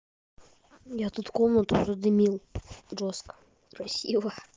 я тут комнату задымил жёстко красиво